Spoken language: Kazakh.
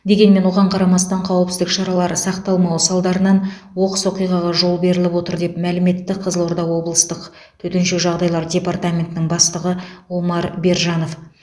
дегенмен оған қарамастан қауіпсіздік шаралары сақталмауы салдарынан оқыс оқиғаға жол беріліп отыр деп мәлім етті қызылорда облыстық төтенше жағдайлар департаментінің бастығы омар бержанов